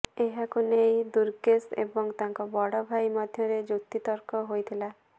ଏହାକୁ ନେଇ ଦୁର୍ଗେଶ ଏବଂ ତାଙ୍କ ବଡ଼ ଭାଇ ମଧ୍ୟରେ ଯୁକ୍ତିତର୍କ ହୋଇଥିଲା